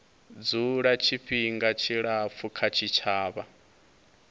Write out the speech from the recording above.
dzula tshifhinga tshilapfu kha tshitshavha